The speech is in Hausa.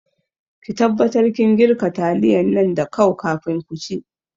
Ki taɓatar kin girka taliyan nan da kau kafin ku ci